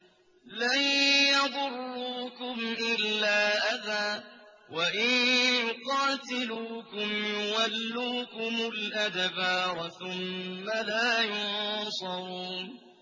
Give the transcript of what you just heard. لَن يَضُرُّوكُمْ إِلَّا أَذًى ۖ وَإِن يُقَاتِلُوكُمْ يُوَلُّوكُمُ الْأَدْبَارَ ثُمَّ لَا يُنصَرُونَ